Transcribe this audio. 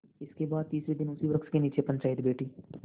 इसके बाद तीसरे दिन उसी वृक्ष के नीचे पंचायत बैठी